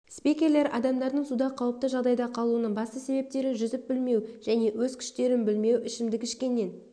спикерлер адамдардың суда қауіпті жағдайда қалуының басты себептері жүзіп білмеу және өз күштерін білмеу ішімдік ішкеннен